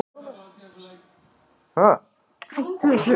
Mikil spenna er í Miðausturlöndum.